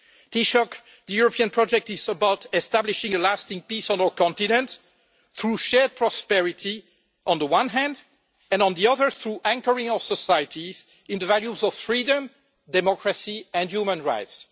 Taoiseach, the European Project is about establishing a lasting peace on our continent through shared prosperity on the one hand and, on the other, through anchoring our societies in the values of freedom, democracy and human rights.